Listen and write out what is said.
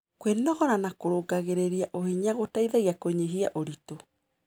Kwĩnogora na kũrũngagĩrĩrĩa ũhinya gũteĩthagĩa kũnyĩhĩa ũrĩtũ